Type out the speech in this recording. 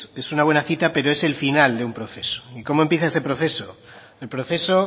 es una buena cita pero es el final de un proceso y cómo empieza ese proceso el proceso